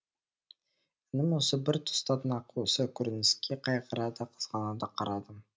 інім осы бір тұста нақ осы көрініске қайғыра да қызғана да қарадым